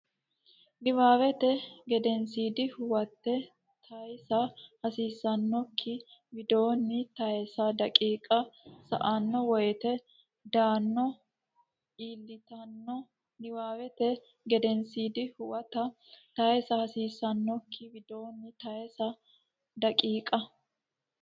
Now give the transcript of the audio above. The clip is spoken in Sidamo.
Niwaawete Gedensiidi Huwate taysa hasiissannokki widoonni tayse daqiiqa sa anno woyte dano iillitanno Niwaawete Gedensiidi Huwate taysa hasiissannokki widoonni tayse daqiiqa.